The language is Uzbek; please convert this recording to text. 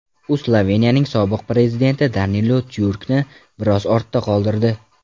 U Sloveniyaning sobiq prezidenti Danilo Tyurkni biroz ortda qoldirdi.